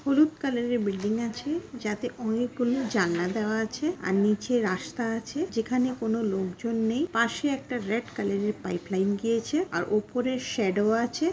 হলুদ কালার -এর বিল্ডিং আছে। যাতে অনেকগুলি জানলা দেওয়া আছে আর নিচে রাস্তা আছে। যেখানে কোনো লোকজন নেই। পাশে একটা রেড কালার -এর পাইপ লাইন গিয়েছে। আর ওপরে শ্যাডো আছে।